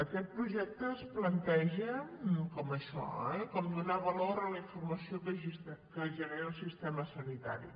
aquest projecte es planteja com això eh com donar valor a la informació que genera el sistema sanitari